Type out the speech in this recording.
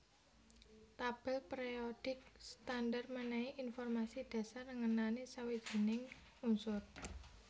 Tabèl périodik standar mènèhi informasi dhasar ngenani sawijining unsur